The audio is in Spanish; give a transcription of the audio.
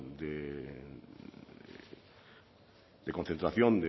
de concentración